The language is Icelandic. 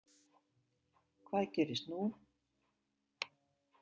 Hvað gerist nú?